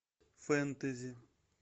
фэнтези